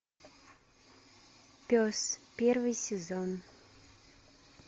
пес первый сезон